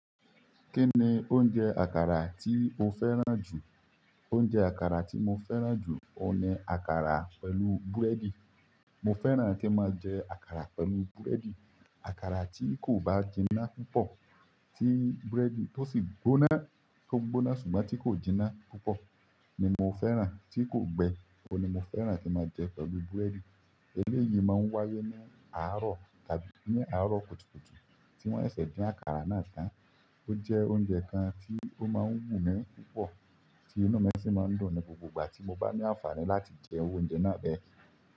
Kí ni oúnjẹ àkàrà tí o fẹ́ràn jù? Oúnjẹ àkàrà tí mo fẹ́ràn jù, o ní àkàrà pẹ̀lú búrẹ́dì. Mo fẹ́ràn kí n máa jẹ àkàrà pẹ̀lú búrẹ́dì. Àkàrà tí kò bá jiná púpọ̀, tí búrẹ́dì tó sì gbóná, tó gbóná ṣùgbọ́n tí kò jiná púpọ̀ ni mo fẹ́ràn, tí kò gbẹ́, ọ̀ ni mo fẹ́ràn tí máa jẹ pẹ̀lú búrẹ́dì. Eléyìí máa ń wáyé ní àárọ̀ tàbí ní àárọ̀ kùtùkùtù tí wọ́n ṣẹ̀se dín àkàrà náà tán. Ó jẹ́ oúnjẹ kan tí ó máa ń wù mí púpọ̀, tí inú mí sì máa ń dùn ní gbogbo ìgbà tí mo bá ní àǹfààní láti jẹ iru oúnjẹ náà bẹ́ẹ̀.